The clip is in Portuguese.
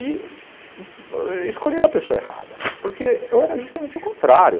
E escolheram a pessoa errada, porque eu era justamente o contrário.